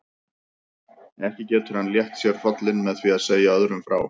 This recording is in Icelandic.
Ekki getur hann létt sér hrollinn með því að segja öðrum frá.